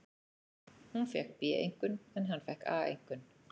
Hún fékk B-einkunn en hann fékk A-einkunn.